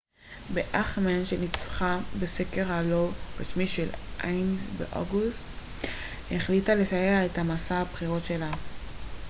באכמאן שניצחה בסקר הלא רשמי של איימז באוגוסט החליטה לסיים את מסע הבחירות שלה